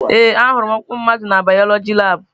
Ee, ahụrụ m ọkpụkpụ mmadụ na bayoloji labụ.